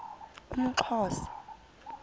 umxhosa